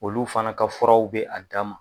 Olu fana ka furaw bɛ a dan ma.